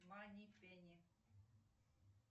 мани пени